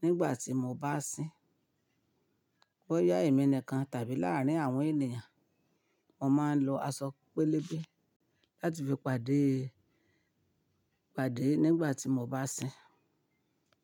nígbà tí mo bá sín. Boya èmi nìkan tàbí láàárín àwọn ènìyàn, mo máa ń lo aṣọ pélébé láti fi pàdé, pàdé nígbà tí mo bá sín.